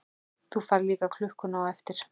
Þú færð líka klukkuna á eftir.